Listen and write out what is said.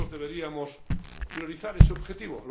Todos deberíamos priorizar ese objetivo.